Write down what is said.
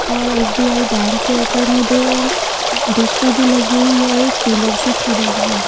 और S B I bank के ऊपर में दो डिश टी_वी लगी हुई है और एक पिलर सी खड़ी है।